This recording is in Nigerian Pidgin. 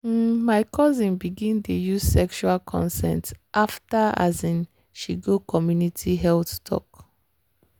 um my cousin begin dey use sexual consent after um she go community health talk.